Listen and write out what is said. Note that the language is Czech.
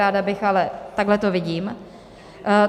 Ráda bych, ale takhle to vidím.